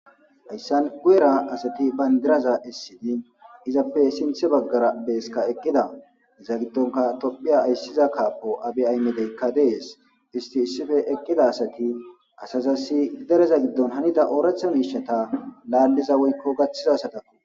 ayssan guera asati bayndiraza issidi izappe sinthe baggara beeska eqqida iza giddonka tophiya ayssiza kaapo abe aymedeykka dees isti issife eqqida asati asazasi dereza giddon hanida ooratha miishata laalliza woykko gaththizasadakku